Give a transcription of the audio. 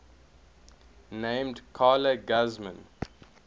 named carla guzman